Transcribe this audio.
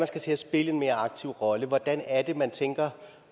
skal til at spille en mere aktiv rolle hvordan er det så man tænker